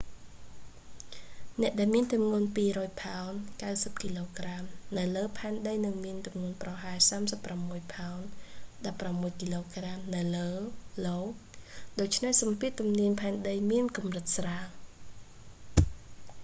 អ្នកដែលមានទម្ងន់ 200ផោន 90គក នៅលើផែនដីនឹងមានទម្ងន់ប្រហែល 36ផោន 16គក នៅលើ io ដូច្នេះសម្ពាធទំនាយផែនដីមានកម្រិតស្រាល